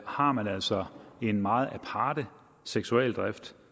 har man altså en meget aparte seksualdrift